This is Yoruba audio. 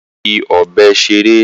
Ó ń fi ọ̀bẹ ṣeré.